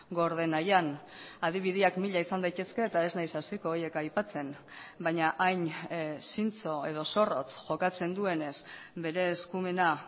gorde nahian adibideak mila izan daitezke eta ez naiz hasiko horiek aipatzen baina hain zintzo edo zorrotz jokatzen duenez bere eskumena